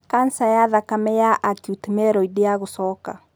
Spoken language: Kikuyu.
kanca ya thakame ya acute myeloid ya gũcoka.